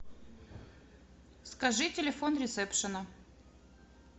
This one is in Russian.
скажи телефон ресепшена